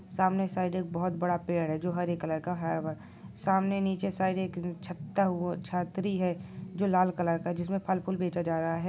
सामने साइड एक बहुत बड़ा पेड़ है जो हरे कलर का है सामने नीची साइड एक छत्ता वो छतरी है जो लाल कलर का है जिसमें फल फूल बेचा जा रहा हैं।